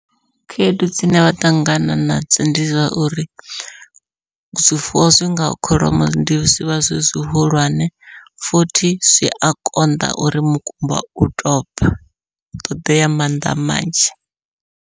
Khaedu dzine vha ṱangana nadzo ndi zwa uri zwifuwo zwi ngaho kholomo ndi zwivha zwi zwihulwane, futhi zwia konḓa uri mukumba u tou ubva hu ṱoḓea mannḓa manzhi.